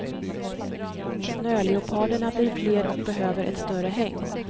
Snöleoparderna blir fler och behöver ett större hägn.